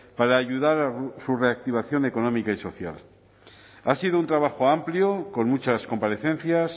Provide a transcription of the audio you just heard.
para ayudar a su reactivación económica y social ha sido un trabajo amplio con muchas comparecencias